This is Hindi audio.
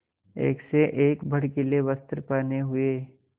एक से एक भड़कीले वस्त्र पहने हुए